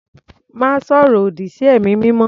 Má sọ̀rọ̀ òdì sí ẹ̀mí mímọ́.